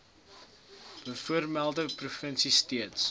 bovermelde provinsie steeds